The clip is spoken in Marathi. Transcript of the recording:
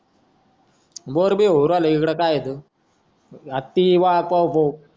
बोर बीर होऊन आलो इकडं काय हाय अजून हाती वाघ पावपाव